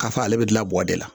K'a fɔ ale bɛ dilan buwa de la